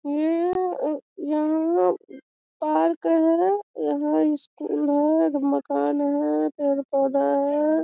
ये यहाँ पार्क है यहाँ स्कूल है एक मकान है पेड़-पौधा है।